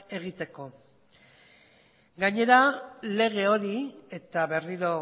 egiteko gainera lege hori eta berriro